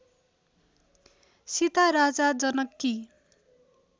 सीता राजा जनककी